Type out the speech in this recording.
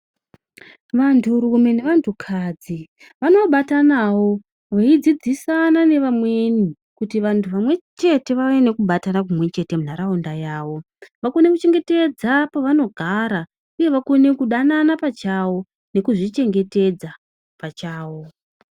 Vandu rume ne vandu kadzi vanobatanawo veidzidzisana nevamweni kuti vandu vamwe chete vave nekubatana kumwe chete munharaunda yavo vakone kuchengetedza pavano gara uye vakone kudanana pachavo nekuzvi chengetedza pachavo.